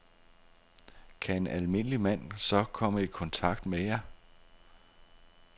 Kan en almindelig mand så komme i kontakt med jer?